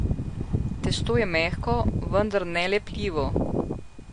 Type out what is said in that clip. Testo je mehko, vendar ne lepljivo.